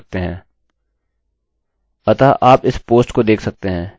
लेकिन get variable में आपके पास सौ अक्षरों की सीमा है